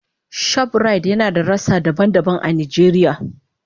Shoprite yana da rassa daban-daban a Najeriya.